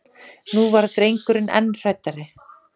Nú varð drengurinn enn hræddari.